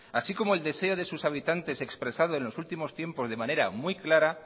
así como el deseo de sus habitantes expresado en los últimos tiempos de manera muy clara